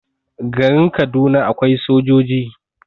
garin Kaduna akwai sojoji